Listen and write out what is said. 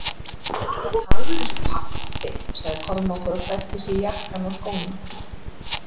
Þú talar eins og pabbi, sagði Kormákur og klæddi sig í jakkann og skóna.